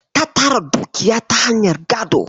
Ta tara dukiya ta hanyar gado.